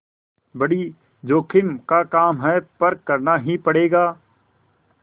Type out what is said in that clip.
बड़ी जोखिम का काम है पर करना ही पड़ेगा